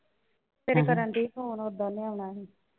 . ਸਵੇਰੇ ਕਰਨ ਡਈ phone ਓਦਾਂ ਉਹਨੇ ਆਉਣਾ ਸੀ।